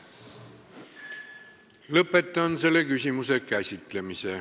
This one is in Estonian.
Lõpetan selle küsimuse käsitlemise.